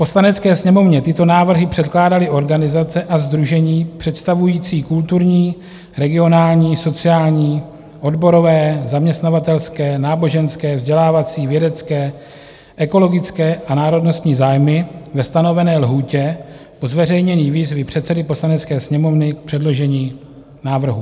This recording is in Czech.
Poslanecké sněmovně tyto návrhy předkládaly organizace a sdružení představující kulturní, regionální, sociální, odborové, zaměstnavatelské, náboženské, vzdělávací, vědecké, ekologické a národnostní zájmy ve stanovené lhůtě po zveřejnění výzvy předsedy Poslanecké sněmovny k předložení návrhu.